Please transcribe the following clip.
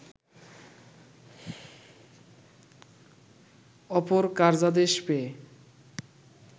অপর কার্যাদেশ পেয়ে